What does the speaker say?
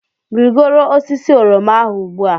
Rigoro osisi oroma ahụ ugbu a!